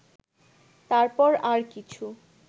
তারপর আর কিছু